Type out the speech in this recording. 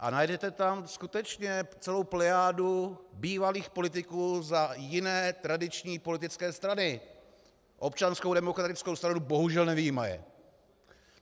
A najdete tam skutečně celou plejádu bývalých politiků za jiné tradiční politické strany, Občanskou demokratickou stranu bohužel nevyjímaje.